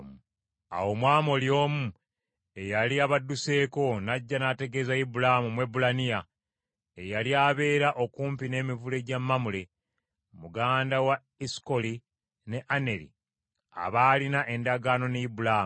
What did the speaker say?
Awo Omwamoli omu eyali abadduseeko n’ajja n’ategeeza Ibulaamu Omwebbulaniya, eyali abeera okumpi n’emivule gya Mamule, muganda wa Esukoli ne Aneri abaalina endagaano ne Ibulaamu.